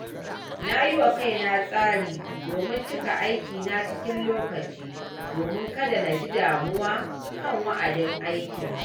Na yi wa kaina tsari domin cika aikina cikin lokaci domin kada na ji damuwa kan wa’adin aiki.